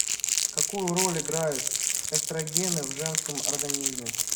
какую роль играют эстрогены в женском организме